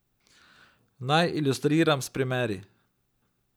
Naj ilustriram s primeri.